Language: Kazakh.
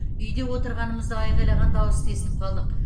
үйде отырғанымызда айқайлаған дауысты естіп қалдық